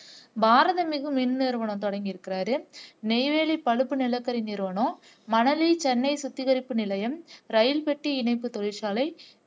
பாரத மிகுமின் நிறுவனம் தொடக்கி இருக்கிறார் நெய்வேலி பழுப்பு நிலக்கரி நிறுவனம் மணலி சென்னை சுத்திகரிப்பு நிலையம் ரயில் பெட்டி இணைப்பு தொழிற்சாலை